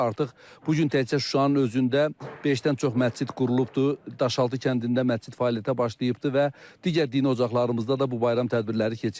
artıq bu gün təkcə Şuşanın özündə beşdən çox məscid qurulubdur, Daşaltı kəndində məscid fəaliyyətə başlayıbdır və digər dini ocaqlarımızda da bu bayram tədbirləri keçirilir.